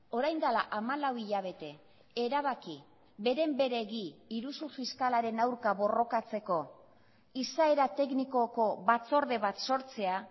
orain dela hamalau hilabete erabaki beren beregi iruzur fiskalaren aurka borrokatzeko izaera teknikoko batzorde bat sortzea